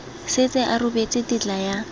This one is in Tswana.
setse a rebotse tetla ya